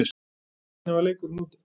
En hvernig var leikurinn úti?